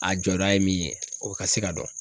A jɔda ye min ye o ka se ka dɔn.